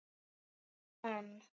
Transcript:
Já en?